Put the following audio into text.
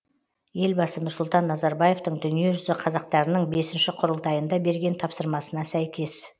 елбасы нұрсұлтан назарбаевтың дүниежүзі қазақтарының бесінші құрылтайында берген тапсырмасына сәйкес